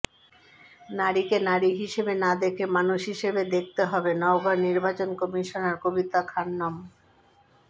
নারীকে নারী হিসেবে না দেখে মানুষ হিসেবে দেখতে হবে নওগাঁয় নির্বাচন কমিশনার কবিতা খানম